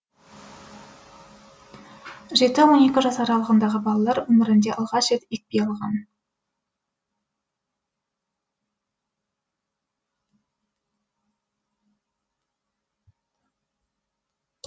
жеті он екі жас аралығындағы балалар өмірінде алғаш рет екпе алған